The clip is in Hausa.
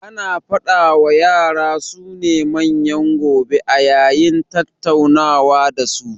Ana faɗa wa yara su ne manyan gobe a yayin tattaunawa da su